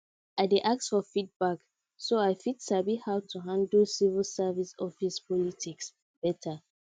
i dey ask for feedback so i fit sabi how to handle civil service office politics better